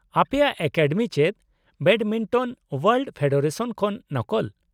-ᱟᱯᱮᱭᱟᱜ ᱮᱠᱟᱰᱮᱢᱤ ᱪᱮᱫ badminton world federation ᱠᱷᱚᱱ ᱱᱚᱠᱚᱞ ᱾